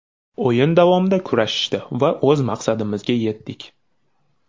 O‘yin davomida kurashishdi va o‘z maqsadimizga yetdik.